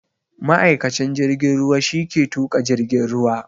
Ma'aikacin jirgin ruwa shi ke tuƙa jirgin ruwa